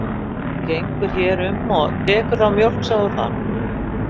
Og bara gengur hér um og tekur þá mjólk sem þú þarft.